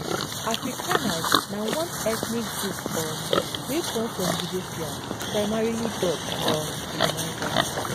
afrikaners na one ethnic group um wey come from european primarily dutch um colonizers